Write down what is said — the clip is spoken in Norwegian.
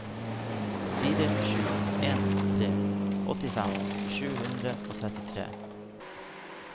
fire sju en tre åttifem sju hundre og trettitre